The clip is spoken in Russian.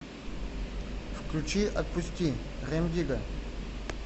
включи отпусти рем дигга